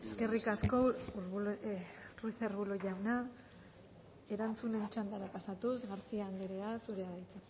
ruiz arbulo jauna erantzunen txandara pasatuz garcía andrea zurea da hitza